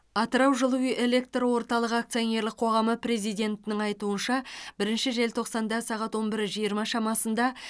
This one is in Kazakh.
атырау жылу электр орталығы акционерлік қоғамы президентінің айтуынша бірінші желтоқсанда сағат он бір жиырма шамасында